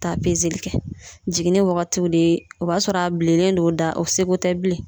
Taa peseli kɛ jiginni wagatiw de o b'a sɔrɔ a bilennen do o da o seko tɛ bilen